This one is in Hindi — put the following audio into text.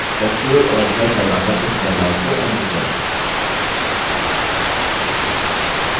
ctrl और z दबाकर इस बदलाव को अन्डू करें